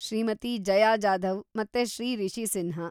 ಶ್ರೀಮತಿ ಜಯಾ ಜಾಧವ್ ಮತ್ತೆ ಶ್ರೀ ರಿಷಿ ಸಿನ್ಹಾ.